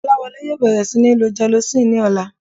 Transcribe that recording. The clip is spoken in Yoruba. Kọ́láwọlé yóò bẹ̀rẹ̀ sí níí lo gelocin ní ọ̀la